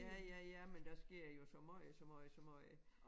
Ja ja ja men der sker jo så måj så måj så måj